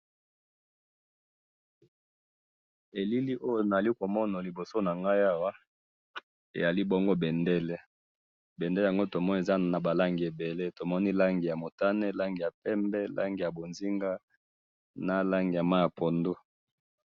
Elili oyo nazali komona liboso nangayi awa, azi bongo bendele, bendele yango tomoni ezali nabalangi ebele, langi yamotane, langi yapembe, langi yamonzinga, nalangi ya mayi ya pondu.